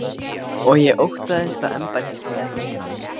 Og ég óttaðist að embættismönnum innan